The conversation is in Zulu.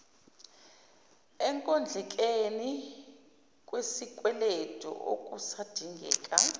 ekondlekeni kwesikweletu okusadingeka